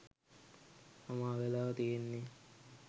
තමා වෙලා තියෙන්නේ